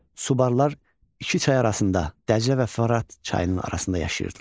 Subarlar iki çay arasında Dəclə və Fərat çayının arasında yaşayırdılar.